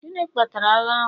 gịnị kpatara agha ahụ?